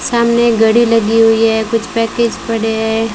सामने एक घड़ी लगी हुई है। कुछ पैकीज पड़े हैं।